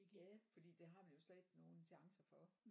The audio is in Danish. Ja fordi det har man jo slet ikke nogen chancer for